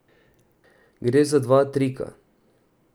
Gre za dva trika.